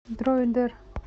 дроидер